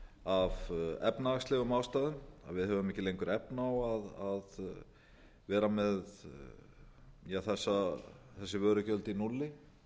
af efnahagslegum ástæðum að við höfum ekki lengur efni á að vera með þessi vörugjöld í núlli